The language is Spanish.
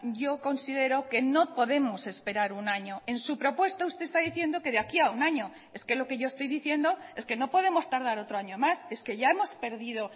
yo considero que no podemos esperar un año en su propuesta usted está diciendo que de aquí a un año es que lo que yo estoy diciendo es que no podemos tardar otro año más es que ya hemos perdido